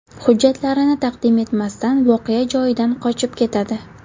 Hujjatlarini taqdim etmasdan voqea joyidan qochib ketadi.